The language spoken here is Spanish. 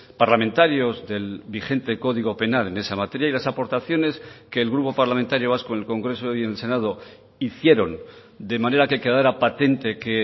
parlamentarios del vigente código penal en esa materia y las aportaciones que el grupo parlamentario vasco en el congreso y en el senado hicieron de manera que quedara patente que